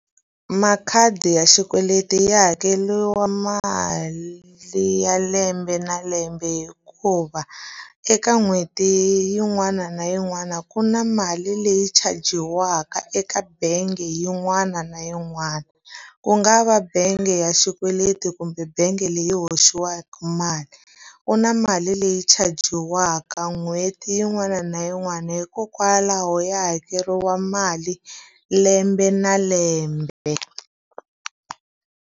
Makhadi ya xikweleti ya hakeriwa mali ya lembe na lembe hikuva, eka n'hweti yin'wana na yin'wana ku na mali leyi chajiwaka eka bangi yin'wana na yin'wana. Ku nga va bangi ya xikweleti kumbe bangi leyi hoxiwaka mali. Ku na mali leyi chajiwaka n'hweti yin'wana na yin'wana, hikokwalaho ya hakeriwa mali lembe na lembe.